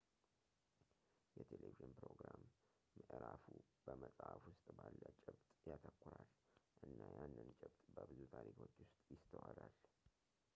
የቴለቪዥን ፕሮግራም ምዕራፉ በመጽሀፍ ውስጥ ባለ ጭብጥ ያተኩራል እና ያንን ጭብጥ በብዙ ታሪኮች ውስጥ ይስተዋላል